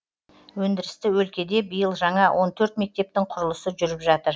өндірісті өлкеде биыл жаңа он төрт мектептің құрылысы жүріп жатыр